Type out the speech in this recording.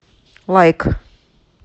лайк